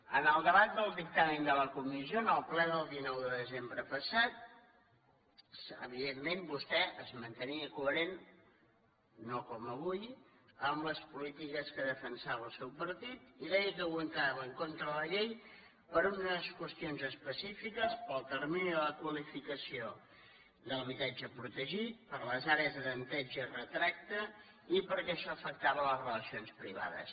en el debat del dictamen de la comissió en el ple del dinou de desembre passat evidentment vostè es mantenia coherent no com avui amb les polítiques que defensava el seu partit i deia que votava en contra de la llei per unes qüestions específiques com el termini de la qualificació de l’habitatge protegit per les àrees de tanteig i retracte i perquè això afectava les relacions privades